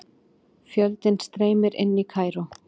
Fjöldinn streymir inn í Kaíró